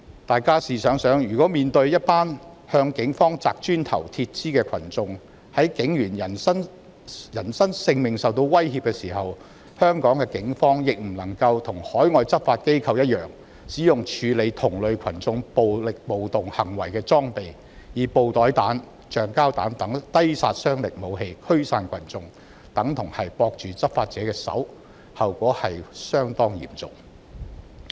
大家試想想，香港警方如面對向警方擲磚頭和鐵枝的群眾，警員在人身性命受威脅的時候卻不能跟海外執法機構一樣，使用處理同類群眾暴力暴動行為的裝備，以布袋彈、橡膠彈等低殺傷力武器驅散群眾，這等同綁着執法者的手，後果可以相當嚴重。